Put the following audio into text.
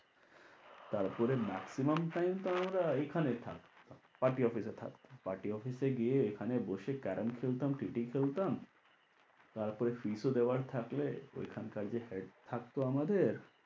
তারপরে maximum time তো আমরা এই খানে থাকতাম party office এ থাকতাম, party office এ গিয়ে এখানে বসে caram খেলতাম টিটি খেলতাম তারপরে fees ও দেওয়ার থাকলে ঐখানকার যে head থাকতো আমাদের,